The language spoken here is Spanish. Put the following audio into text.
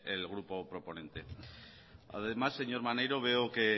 el grupo proponente además señor maneiro veo que